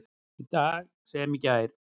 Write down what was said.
Í dag sem í gær.